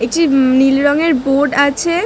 একটি উম নীল রঙের বোর্ড আছে।